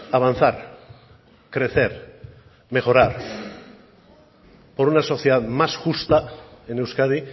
avanzar crecer mejorar por una sociedad más justa en euskadi